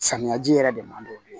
Samiyaji yɛrɛ de man d'o ye